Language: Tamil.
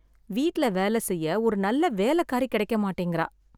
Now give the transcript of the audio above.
வீட்ல வேல செய்ய ஒரு நல்ல வேலக்காரி கிடைக்க மாட்டேங்குறா